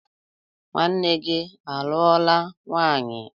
Nwanne gi aluola nwanyi?